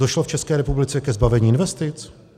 Došlo v České republice ke zbavení investic?